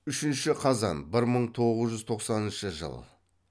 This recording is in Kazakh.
үшінші қазан бір мың тоғыз жүз тоқсанынышы жыл